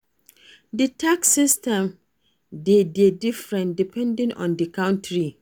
Di tax system de dey different depending on di country